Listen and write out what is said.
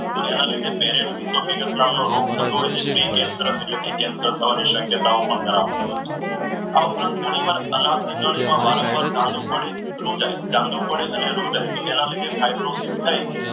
તો એના લીધે રોગ થતો હોય છે ફ્રી કેન્સર એટલે કે કેન્સર થવાની શક્યતાઓ પણ કરાવતો હોય છે. આ ઉપરાંત ઘણીવાર અનાજની નળીમાં ચાંદુ પડે રૂ જાય ચાંદો પડે અને રૂ જાય તો એના લીધે થઈ.